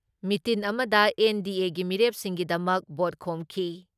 ꯃꯤꯇꯤꯟ ꯑꯃꯗ ꯑꯦꯟ.ꯗꯤ.ꯑꯦꯒꯤ ꯃꯤꯔꯦꯞꯁꯤꯡꯒꯤꯗꯃꯛ ꯚꯣꯠ ꯈꯣꯝꯈꯤ ꯫